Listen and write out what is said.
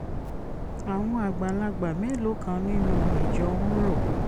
àwọn àgbàlagbà mélòó kan nínú ìjọ ń rò